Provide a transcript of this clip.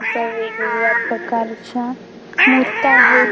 इथ वेगवेगळ्या प्रकारच्या मूर्त्या आहेत.